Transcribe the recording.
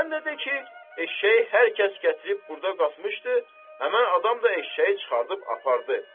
Sən də de ki, eşşəyi hər kəs gətirib burda qatmışdı, həmin adam da eşşəyi çıxarıb apardı.